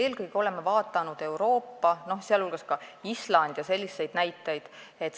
Eelkõige oleme vaadanud Euroopa, teiste hulgas Islandi ja selliste maade näiteid.